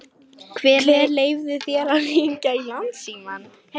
Hver leyfði þér að hringja í Landsímann?